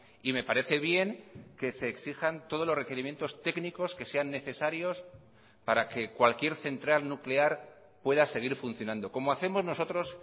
y me parece bien que se exijan todos los requerimientos técnicos que sean necesarios para que cualquier central nuclear pueda seguir funcionando como hacemos nosotros